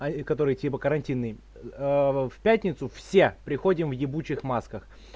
и который типа карантины в пятницу все приходим в ебучих масках